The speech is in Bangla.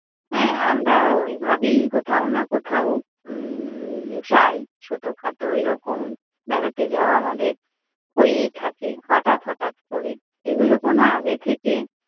হ্যাঁ আমরা ওইভাবেই কোথাও না কোথাও উম্ম যাই ছোটো খাটো এইরকম বেড়াতে যাওয়া আমাদের হয়েই থাকে হঠাৎ হঠাৎ কোরে। এগুলো কোনো আগে থেকে